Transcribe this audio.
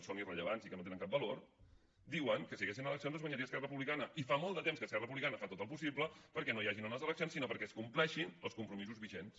són irrellevants i que no tenen cap valor diuen que si hi haguessin eleccions les guanyaria esquerra republicana i fa molt de temps que esquerra republicana fa tot el possible perquè no hi hagin unes eleccions sinó perquè es compleixin els compromisos vigents